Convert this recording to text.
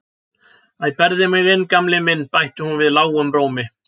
Æ, berðu mig inn Gamli minn bætti hún við lágum rómi.